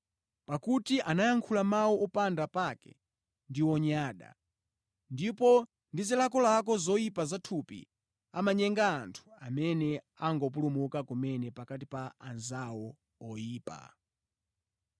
Pakuti anayankhula mawu opanda pake ndi onyada, ndipo ndi zilakolako zoyipa za thupi amanyenga anthu amene angopulumuka kumene pakati pa anzawo oyipa.